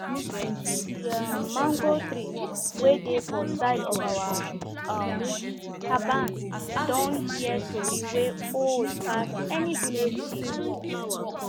d um mango tree way dey for side of our um caban don hear tori wey old pass any village chief um